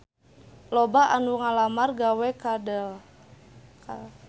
Loba anu ngalamar gawe ka Dell